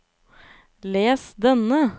les denne